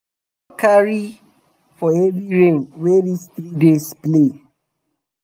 we no carry um for heavy rain wey reach three days play